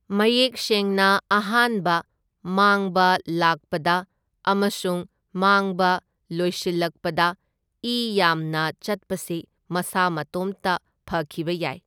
ꯃꯌꯦꯛ ꯁꯦꯡꯅ ꯑꯍꯥꯟꯕ ꯃꯥꯡꯕ ꯂꯥꯛꯄꯗ ꯑꯃꯁꯨꯡ ꯃꯥꯡꯕ ꯂꯣꯏꯁꯤꯜꯂꯛꯄꯗ ꯏ ꯌꯥꯝꯅ ꯆꯠꯄꯁꯤ ꯃꯁꯥ ꯃꯇꯣꯝꯇ ꯐꯈꯤꯕ ꯌꯥꯏ꯫